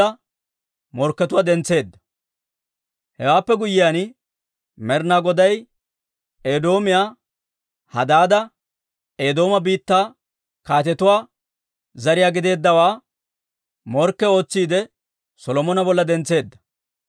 Hewaappe guyyiyaan Med'inaa Goday Edoomiyaa Hadaada, Eedooma biittaa kaatetuwaa zariyaa gideeddawaa morkke ootsiide Solomona bolla dentseedda.